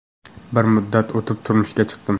Bir muddat o‘tib turmushga chiqdim.